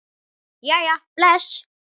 Jæja bless